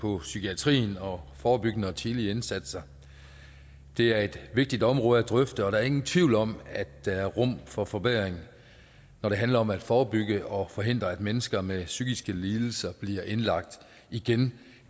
på psykiatrien og forebyggende og tidlige indsatser det er et vigtigt område at drøfte og der er ingen tvivl om at der er rum for forbedring når det handler om at forebygge og forhindre at mennesker med psykiske lidelser bliver indlagt igen